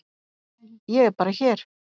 Ég er bara hér.